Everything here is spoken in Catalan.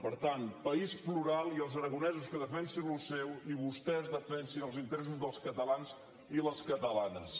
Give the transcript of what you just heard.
per tant país plural i els aragonesos que defensin allò seu i vostès defensin els interessos dels catalans i les catalanes